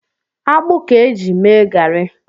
Ji akpụ ka e ji mee gari.